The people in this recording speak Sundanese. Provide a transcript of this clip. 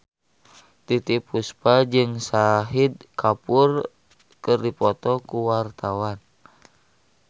Titiek Puspa jeung Shahid Kapoor keur dipoto ku wartawan